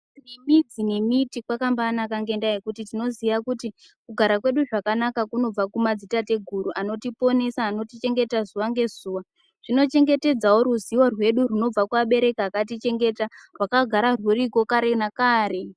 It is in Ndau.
Midzi nemiti kwakambaanaka ngendaa yekuti tinoziya kuti kugara kwedu zvakanaka kunobva kumadzitateguru anotiponesa anotichengeta zuwa ngezuwa. Zvinochengetedzawo ruzivo rwedu rwunobva kuvabereki vakatichengeta rwakagara rwuriko kare nakare.